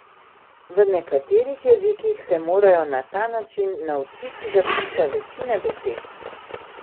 V nekaterih jezikih se morajo na ta način naučiti zapisa večine besed!